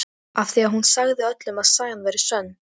Þau beinast að dúðaðri Öldu gangandi í salinn.